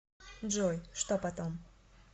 джой что потом